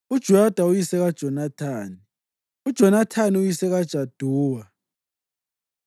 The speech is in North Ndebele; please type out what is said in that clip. uJoyada uyise kaJonathani, uJonathani uyise kaJaduwa.